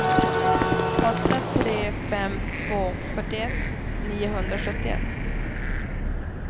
åtta tre fem två fyrtioett niohundrasjuttioett